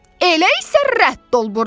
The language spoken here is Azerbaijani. Elə isə rədd ol burdan.